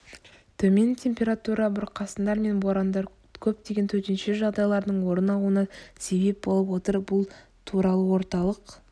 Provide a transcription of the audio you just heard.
төмен температура бұрқасындар мен борандар көптеген төтенше жағдайлардың орын алуына себеп болып отыр бұл туралыорталық